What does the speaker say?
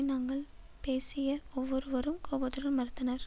நாங்கள் பேசிய ஒவ்வொருவரும் கோபத்துடன் மறுத்தனர்